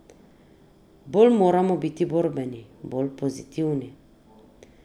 Bolj moramo biti borbeni, bolj pozitivni.